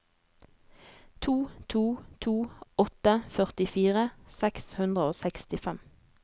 to to to åtte førtifire seks hundre og sekstifem